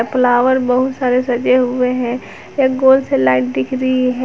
Flower बहुत सारे सजे हुए हैं एक गोल से लाइट दिख रही है।